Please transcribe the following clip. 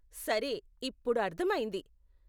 సరే, ఇప్పుడు అర్ధమైంది.